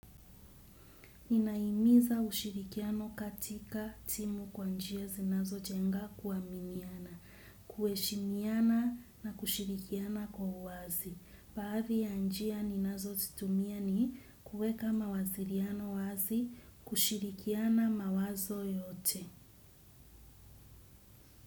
Ninahimiza ushirikiano katika timu kwa njia zinazojenga kuaminiana, kuheshimiana na kushirikiana kwa uwazi. Baadhi ya njia ninazozitumia ni kuweka mawasiliano wazi, kushirikiana mawazo yote.